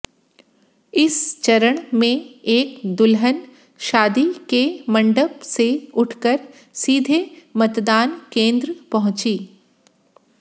इस चरण में एक दुल्हन शादी के मंडप से उठकर सीधे मतदान केंद्र पंहुची